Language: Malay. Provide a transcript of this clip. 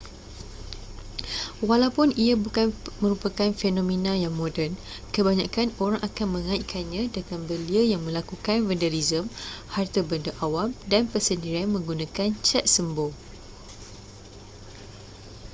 walaupun ia bukan merupakan fenomena yang moden kebanyakan orang akan mengaitkannya dengan belia yang melakukan vandalisme harta benda awam dan persendirian menggunakan cat sembur